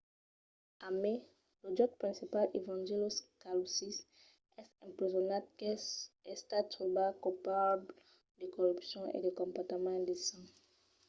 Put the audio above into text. a mai lo jutge principal evangelos kalousis es empresonat qu'es estat trobat colpable de corrupcion e de comportament indecent